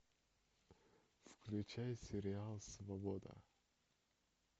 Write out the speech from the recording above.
включай сериал свобода